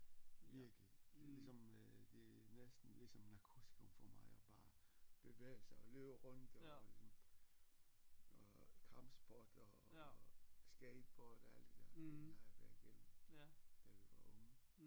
Virkelig ligesom øh det er næsten ligesom narkotikum for mig at bare bevæge sig og løbe rundt og ligesom og kampsport og og skateboard og alt det der det har jeg været igennem da vi var unge